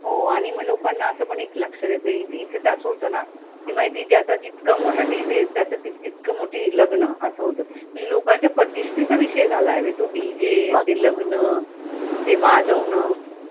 हो आणि मग लोकांना असं पण एक लक्षात येतं नाही इथे तर असं होतं ना की माहितीये ज्यांचा जितका मोठा DJ त्याचं तितकं मोठी लग्न असं होतं ते लोकांच्या प्रतिष्ठेचा विषय झालाय तो DJ ते लग्न, ते वाजवणं